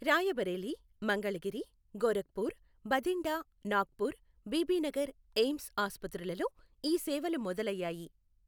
Rae Bareli, Mangalagiri, Gorakhpur, Bathinda, Nagpur, Bibinagar AIIMS ఆసుపత్రులలో ఈ సేవలు మొదలయ్యాయి.